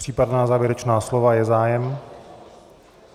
Případná závěrečná slova - je zájem?